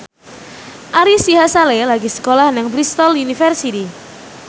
Ari Sihasale lagi sekolah nang Bristol university